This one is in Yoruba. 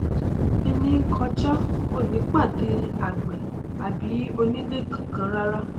ènìà n kọjá ni kò ní pàdé àgbẹ àbí onílẹ kakan rárá